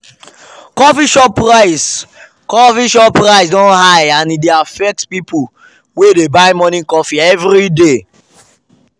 coffee shop price coffee shop price don high and e dey affect people wey dey buy morning coffee every day.